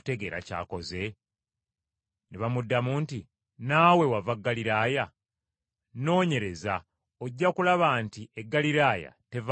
Ne bamuddamu nti, “Naawe wava Ggaliraaya? Nnoonyereza, ojja kulaba nti e Ggaliraaya teva nnabbi.”